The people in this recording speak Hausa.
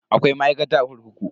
Akwai ma'aikata a kurkuku.